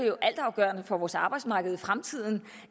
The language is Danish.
jo altafgørende for vores arbejdsmarked i fremtiden